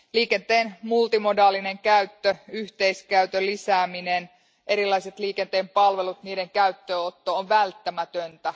Liikenteen multimodaalinen käyttö, yhteiskäytön lisääminen ja erilaiset liikenteen palvelut niiden käyttöönotto on välttämätöntä.